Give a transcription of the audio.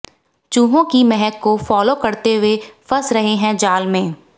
चूहों की महक को फॉलो करते हुए फंस रहे है जाल में